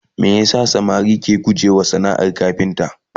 me yasa samari ke guje wa sanaar kafinta?